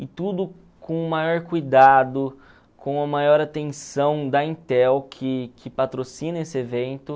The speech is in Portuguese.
E tudo com o maior cuidado, com a maior atenção da Intel, que que patrocina esse evento.